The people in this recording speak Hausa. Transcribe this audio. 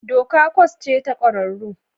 Doka kwas ce ta ƙwararru